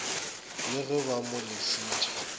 le ge ba mo lesitše